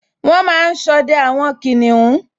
Wọ́n máa n sọdẹ àwọn kìnìún